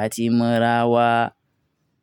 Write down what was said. a ti mọ́ra wa.